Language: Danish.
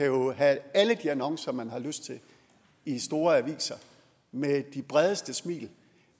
jo kan have alle de annoncer man har lyst til i store aviser med de bredeste smil